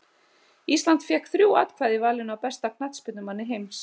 Ísland fékk þrjú atkvæði í valinu á besta knattspyrnumanni heims.